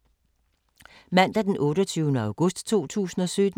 Mandag d. 28. august 2017